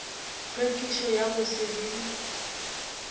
tlhwekišo ya go se be